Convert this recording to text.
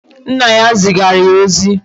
Nna ya zigara ya ozi